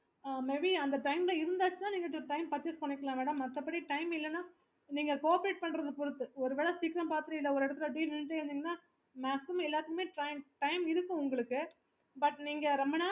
ஆஹ் maybe அந்த time ல இருந்துச்சுன்னா நீங்க purchase பண்ணிக்கலாம் madam மத்தபடி time இல்லன்னா நீங்க cooperate பண்றத பொறுத்து ஒரு வேல சீக்கரம் பாத்துட்டு ஒருவேளை வெடிக்க பாத்துட்டு நின்னீங்கன்னா